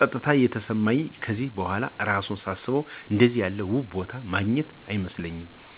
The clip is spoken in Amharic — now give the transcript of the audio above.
ጸጥታ የተሰማኝ ከዚህ በኋላ እራሱ ሳስበው አንደዚያ ያለ ውብ ቦታ የማገኝ አይመስለኝም።